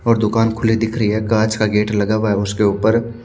और दुकान खुली हुई दिख रही हें काच का गेट लगा हुआ हे उसके ऊपर--